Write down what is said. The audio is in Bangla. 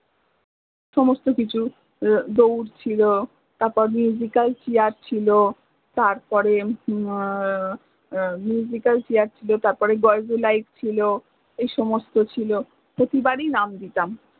সমস্ত কিছু দোউর ছিল, তারপর alchair ছিল তারপরে alchair ছিল ছিল এই সমস্ত ছিল, প্রতিবার ই নাম দিতাম